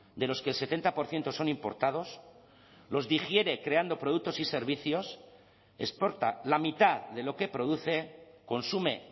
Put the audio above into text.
de los que el setenta por ciento son importados los digiere creando productos y servicios exporta la mitad de lo que produce consume